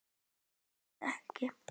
Hann hlustar ekki.